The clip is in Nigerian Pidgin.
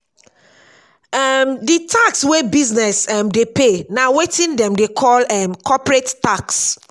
um di tax wey business um dey pay na wetin dem dey call um corporate tax